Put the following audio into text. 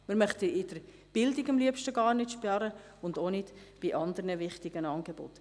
Wir möchten in der Bildung am liebsten gar nicht sparen und auch nicht bei anderen wichtigen Angeboten.